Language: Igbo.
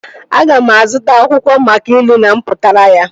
Aga m azụta akwụkwọ maka ilu na mpụtara ya